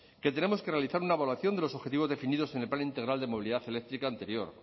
que tenemos que realizar una evaluación de los objetivos definidos en el plan integral de movilidad eléctrica anterior